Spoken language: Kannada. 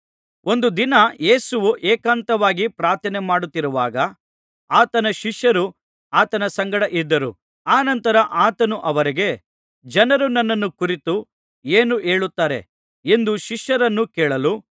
ಒಂದು ದಿನ ಯೇಸುವು ಏಕಾಂತವಾಗಿ ಪ್ರಾರ್ಥನೆಮಾಡುತ್ತಿರುವಾಗ ಆತನ ಶಿಷ್ಯರು ಆತನ ಸಂಗಡ ಇದ್ದರು ಅನಂತರ ಆತನು ಅವರಿಗೆ ಜನರು ನನ್ನನ್ನು ಕುರಿತು ಏನು ಹೇಳುತ್ತಾರೆ ಎಂದು ಶಿಷ್ಯರನ್ನು ಕೇಳಲು